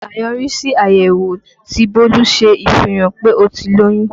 Àyọrísí àyẹ̀wò tí Bólú ṣe fihàn pé ó ti lóyún